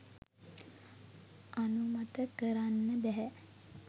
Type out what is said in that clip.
අනුමත කරන්න බැහැ.